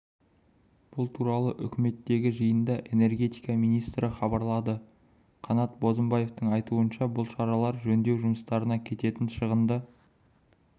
бұл туралы үкіметтегі жиында энергетика министрі хабарлады қанат бозымбаевтың айтуынша бұл шаралар жөндеу жұмыстарына кететін шығынды